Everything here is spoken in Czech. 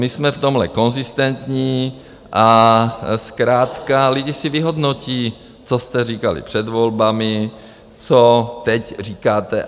My jsme v tomhle konzistentní a zkrátka lidi si vyhodnotí, co jste říkali před volbami, co teď říkáte.